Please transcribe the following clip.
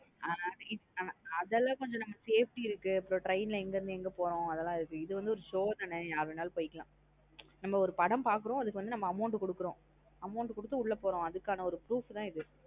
அனா அதெல்லாம் கொஞ்சம் நம்ம ஒரு safety இருக்கு அப்பறம் train லா எங்க இருந்து எங்க போறோம் அதெல்லாம் இருக்கு. இது ஒரு show தான் யார் வேண்ணாலும் போய்க்கலாம் நம்ம வந்து ஒரு படம் பாக்றோம் அதுக்கு ஒரு amount குடுக்குறோம். amount கொடுத்து உள்ள போறோம். அதுக்கான ஒரு proof தான் இது.